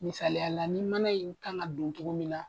Misayala la ni mana in kan ka don cogo min na